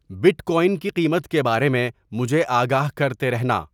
but coin کی قیمت کے بارے میں مجھے آگاہ کرتے رہنا